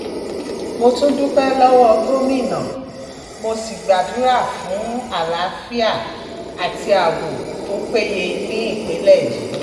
mo tún dúpẹ́ lọ́wọ́ gómìnà mo sì gbàdúrà fún àlàáfíà àti ààbò tó péye ní ìpínlẹ̀ yìí